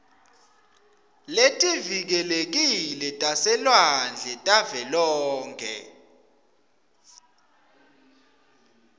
letivikelekile taselwandle tavelonkhe